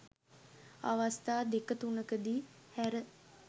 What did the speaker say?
අවස්ථා දෙක තුනක දී හැර